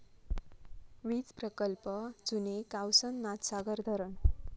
वीज प्रकल्प, जुने कावसन नाथसागर धरण